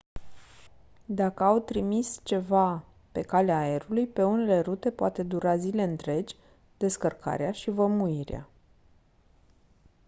dacă au trimis ceva pe calea aerului pe unele rute poate dura zile întregi descărcarea și vămuirea